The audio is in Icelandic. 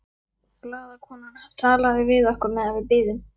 Blaðakonan talaði við okkur meðan við biðum.